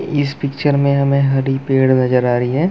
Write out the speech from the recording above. इस पिक्चर में हमें हरी पेड़ नजर आ रही हैं।